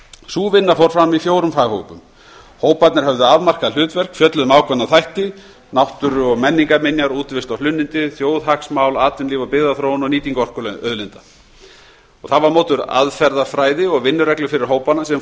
sú vinna fór fram í fórum faghópum hóparnir höfðu afmarkað hlutverk fjölluðu um ákveðna þætti náttúru og menningarminjar útivist og hlunnindi þjóðhagsmál atvinnulíf byggðaþróun og nýtingu orkuauðlinda það var notuð aðferðafræði og vinnureglur fyrir hópana sem